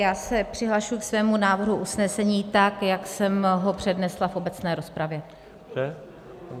Já se přihlašuji ke svému návrhu usnesení, tak jak jsem ho přednesla v obecné rozpravě.